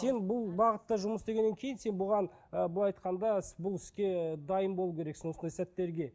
сен бұл бағытта жұмыс істегеннен кейін сен бұған ы былай айтқанда бұл іске дайын болу керексің осындай сәттерге